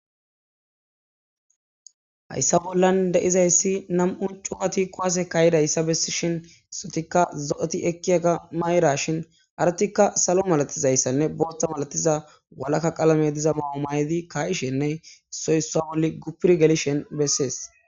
hayssa bollan de7izayssi nam7u cufa ti kowase kaayidayssa bessishin issotikka zo7eti ekkiyaga mayrashin aratikka salo malatizayssanne bootta malatiza walakka qalame diza mao may7di kayishenne soyssa wolli gupir gelishen bessees